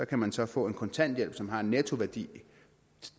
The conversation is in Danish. kan man så få en kontanthjælp som har en nettoværdi